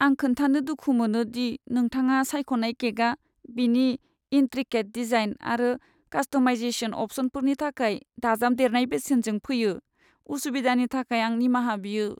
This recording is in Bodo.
आं खोन्थानो दुखु मोनो दि नोंथाङा सायख'नाय केकआ बिनि इन्ट्रिकेट डिजाइन आरो कास्टमाइजेशन अप्शनफोरनि थाखाय दाजाबदेरनाय बेसेनजों फैयो। उसुबिदानि थाखाय आं निमाहा बियो!